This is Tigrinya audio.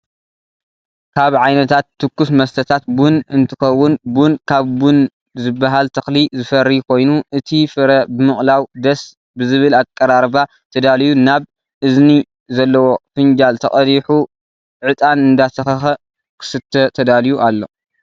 ካብ ዓይነታት ስኩስ መስተታት ቡን እንትከውን ቡን ካብ ቡን ዝበሃል ተክሊ ዝፈሪ ኮይኑ እቲ ፍረ ብምቅላው ደስ ብዝብል ኣቀራርባ ተዳልዩ ናብ እዝኒ ዘለዎ ፍንጃል ተቀዲሑ ዕጣን እንዳተከከ ክስተ ተዳልዩ ኣሎ።